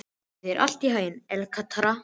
Gangi þér allt í haginn, Elektra.